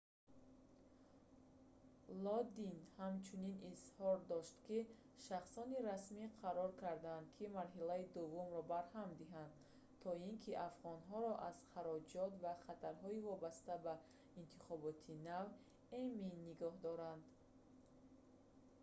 лодин ҳамчунин изҳор дошт ки шахсони расмӣ қарор карданд ки марҳилаи дуввумро барҳам диҳанд то ин ки афғонҳоро аз хароҷот ва хатарҳои вобаста ба интихоботи нав эмин нигоҳ доранд